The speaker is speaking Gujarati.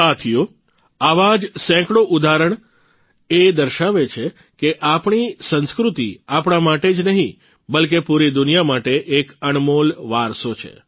સાથીઓ આવા જ સેંકડો ઉદાહરણ એ દર્શાવે છે કે આપણી સંસ્કૃતિ આપણા માટે જ નહીં બલ્કે પૂરી દુનિયા માટે એક અણમોલ વારસો છે